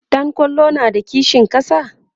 ɗan kwallon na da kishin ƙasa?